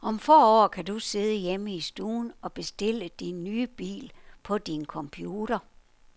Om få år kan du sidde hjemme i stuen og bestille din nye bil på din computer.